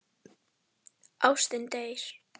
Ástin deyr.